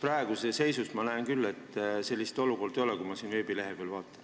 Praegu ma näen küll, et sellist olukorda ei ole, kui ma selle veebilehe peale vaatan.